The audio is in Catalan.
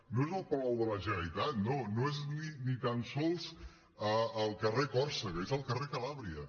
no és al palau de la generalitat no no és ni tan sols al carrer còrsega és al carrer calàbria